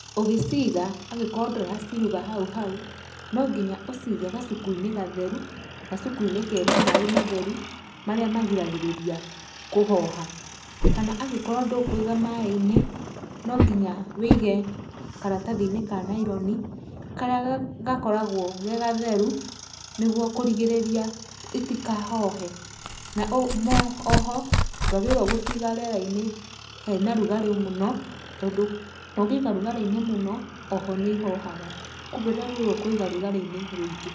Ũgĩciga angĩkorwo ndũraciruga hau hau, nonginya ũcige gacuku-inĩ gatheru, gacuku-inĩ kena maaĩ matheru marĩa magiragĩrĩria kũhoha. Kana angĩkorwo ndũkũiga maaĩ-inĩ, no nginya wĩige karatathi-inĩ ka naironi karĩa gakoragwo ge gatheru nĩgwo kũrigĩrĩria itikahohe. Na oho ndwagĩrĩirwo gũciga rĩera-inĩ hena rugarĩ mũno, tondũ ũngĩiga rugarĩ-inĩ mũno oho nĩ ihohaga, kumbe ndwagĩrĩirwo kũiga rugarĩ-inĩ rwĩngĩ.